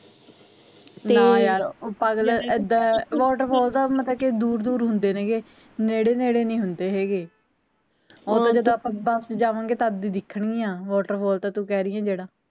ਨਾ ਯਾਰ ਪਾਗਲ ਇੱਦਾਂ water fall ਤਾ ਦੂਰ ਦੂਰ ਹੁੰਦੇ ਨੇ ਗੇ ਨੇੜੇ ਨੇੜੇ ਨੀ ਹੁੰਦੇ ਹੈਗੇ ਉਹ ਤਾਂ ਜਦੋਂ ਆਪਾਂ ਬੱਸ ਚ ਜਾਵਾਂਗੇ ਤਦ ਦਿੱਖਣਗੀਆ water fall ਤੂੰ ਕਹਿ ਰਹੀ ਐ ਜਿਹੜਾ